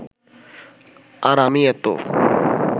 আর আমি এতো